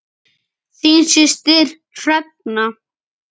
Þín systir Hrefna.